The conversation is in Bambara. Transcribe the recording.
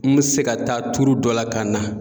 N bɛ se ka taa dɔ la ka na